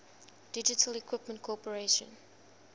digital equipment corporation